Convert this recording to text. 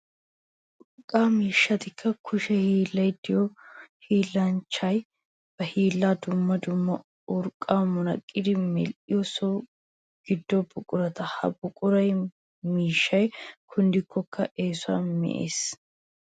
Urqqa miishshatti kushe hiillay de'iyo hiillanchchiya ba hiillan dumma dumma urqqa munaqqada medhdhiyo so gido buqura. Ha urqqa miishshaykka kunddikko eesuwan me'ees.